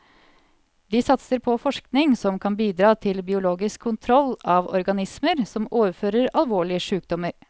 De satser på forskning som kan bidra til biologisk kontroll av organismer som overfører alvorlige sykdommer.